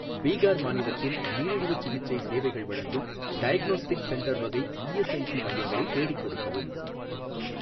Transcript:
பீகார் மாநிலத்தில் நீரிழிவுச் சிகிச்சை சேவைகள் வழங்கும் டயக்னோஸ்டிக்ஸ் சென்டர் வகை இஎஸ்ஐஸி மையங்களை தேடிக் கொடுக்கவும்.